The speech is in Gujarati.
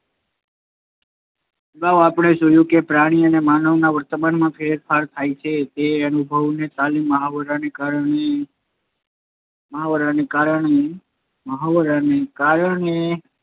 અગાઉ આપણે જોયું કે પ્રાણી કે માનવના વર્તનમાં ફેરફાર થાય છે તે જો અનુભવ, તાલીમ કે મહાવરાને કારણે મહાવરાને કારણે મહાવરાને કારણે